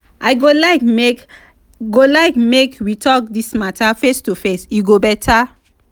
i go like make go like make we talk this matter face to face e go better.